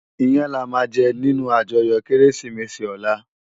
Iyän làmá jè ninú àjòyò Kérésimési òlá